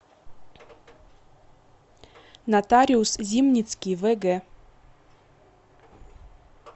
нотариус зимницкий вг